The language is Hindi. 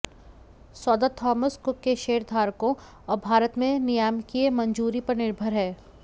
सौदा थॉमस कुक के शेयरधारकों और भारत में नियामकीय मंजूरी पर निर्भर है